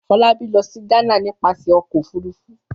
Fọlábí lọ sí Ghana nípasẹ̀ ọkọ̀-òfurufú.